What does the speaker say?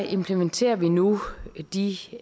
implementerer vi nu de